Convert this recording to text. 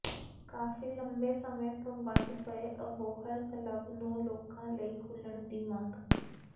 ਕਾਫ਼ੀ ਲੰਬੇ ਸਮੇਂ ਤੋਂ ਬੰਦ ਪਏ ਅਬੋਹਰ ਕਲੱਬ ਨੂੰ ਲੋਕਾਂ ਲਈ ਖੋਲ੍ਹਣ ਦੀ ਮੰਗ